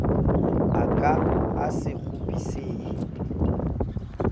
a ka a se kgopisehe